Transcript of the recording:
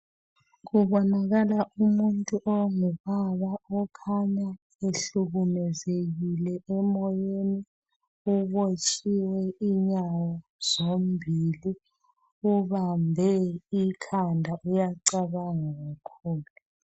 Kubonakala umuntu ongubaba okhanya ehlukumezekile emoyeni ubotshiwe inyawo zombili . Ubambe ikhanda uyacabanga kakhulu.